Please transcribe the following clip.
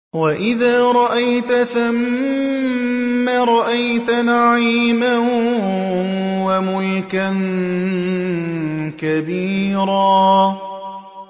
وَإِذَا رَأَيْتَ ثَمَّ رَأَيْتَ نَعِيمًا وَمُلْكًا كَبِيرًا